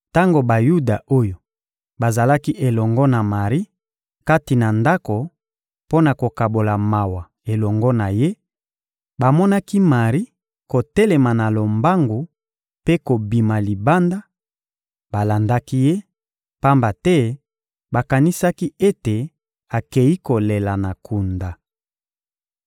Tango Bayuda oyo bazalaki elongo na Mari kati na ndako mpo na kokabola mawa elongo na ye, bamonaki Mari kotelema na lombangu mpe kobima libanda, balandaki ye, pamba te bakanisaki ete akei kolela na kunda.